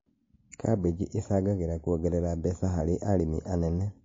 Kambĩji ĩcangagĩra kuongerera mbeca harĩ arĩmi anene